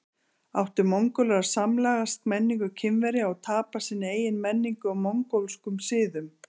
Áttu Mongólar að samlagast menningu Kínverja og tapa sinni eigin menningu og mongólskum siðum?